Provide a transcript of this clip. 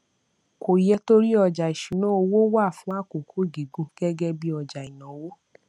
kò yẹ torí ọjà ìṣúnná owó wà fún àkókò gígùn gẹgẹ bí ọjà ìnáwó